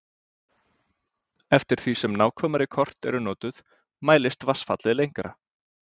Eftir því sem nákvæmari kort eru notuð mælist vatnsfallið lengra.